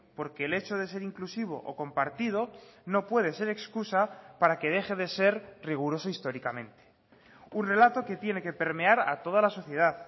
porque el hecho de ser inclusivo o compartido no puede ser excusa para que deje de ser riguroso históricamente un relato que tiene que permear a toda la sociedad